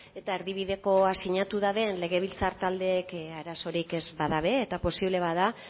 eta erdibidekoa sinatu dute legebiltzar taldeek arazorik ez badute eta posible bada